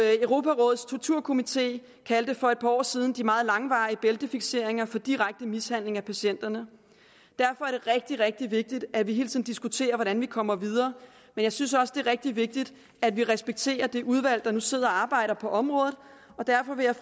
europarådets torturkomité kaldte for et par år siden de meget langvarige bæltefikseringer for direkte mishandling af patienterne derfor er det rigtig rigtig vigtigt at vi hele tiden diskuterer hvordan vi kommer videre men jeg synes også det er rigtig vigtigt at vi respekterer det udvalg der nu sidder og arbejder på området og derfor vil jeg